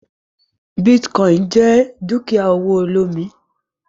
Bitcoin jẹ dukia owo olomi.